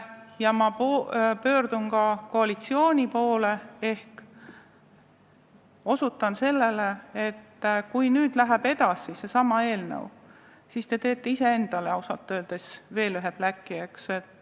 Ja ma pöördun ka koalitsiooni poole, osutades sellele, et kui see eelnõu nüüd edasi läheb, siis te teete endale ausalt öeldes veel ühe bläki.